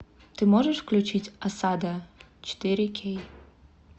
ты можешь включить осада четыре кей